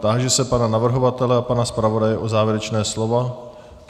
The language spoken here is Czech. Táži se pana navrhovatele a pana zpravodaje na závěrečná slova.